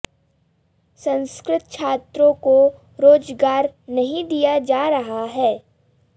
संस्कृत छात्रों को रोजगार नहीं दिया जा रहा है